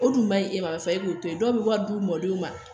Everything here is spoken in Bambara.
O dun man ɲi e ma karisa e b'o to yen dɔw bɛ wari di u mɔdenw ma